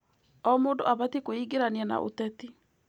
O mũndũ abatiĩ kwĩingĩrania na ũteti.